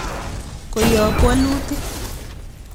Koyob wolutik.